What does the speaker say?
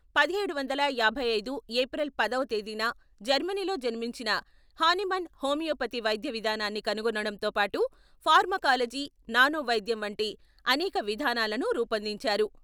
పదిహేడు వందల యాభై ఐదు ఏప్రిల్ పదవ తేదీన జర్మనీలో జన్మించిన హానీమన్ హోమియోపతి వైద్య విధానాన్ని కనుగొనడంతో పాటు ఫార్మకాలజీ, నానోవైద్యం వంటి అనేక విధానాలను రూపొందించారు.